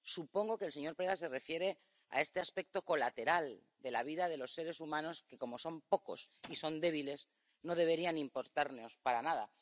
Supongo que el señor Preda se refiere a este aspecto colateral de la vida de los seres humanos que, como son pocos y son débiles, no deberían importarnos nada.